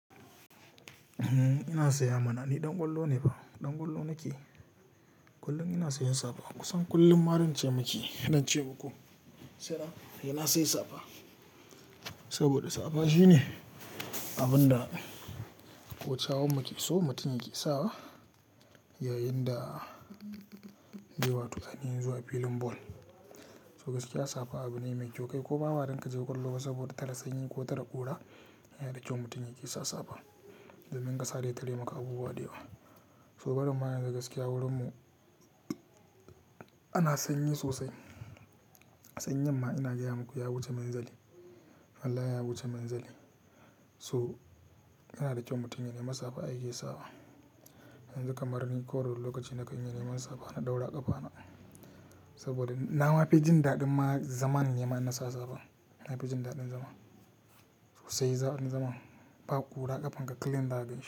Ina tsaya mana ni ɗan ƙwallo ne fa, ɗan ƙwallo nake. Kullum ina sayan safa kusan kullum ma zan ce miki zan ce muku. Sa'an nan na say safa, saboda safa shine abin da kosawun mutum ke sawa yayin da yewa tukane zuwa filin ball. To gaskiya safa abu ne mai kyau kai. Ko ma ba dan ka je ƙwallo ba saboda tara sanyi ko tara ƙura yana da kyau mutum yake sa safa. Domin kasa zai tare maka abubuwa da yawa. So barin ma yanzu gaskiya wurinmu ana sanyi sosai. Sanyin ma ina gaya muku ya wuce munzali. Allah ya wuce munzali. So yana da kyau mutum yanemi safa yake sawa. Yanzu kamar ni kowane lokaci na kan iya neman safa na ɗaura a ƙafana. Saboda nama fi jin daɗin ma zamanine in ma nasa safa. Nama fi jin daɗin zaman. So sai za ni zaman. Ba ƙura ƙafanka clean zaka ganshi.